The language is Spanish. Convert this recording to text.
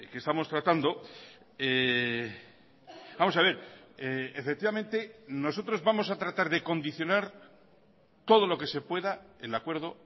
estamos tratando vamos a ver efectivamente nosotros vamos a tratar de condicionar todo lo que se pueda el acuerdo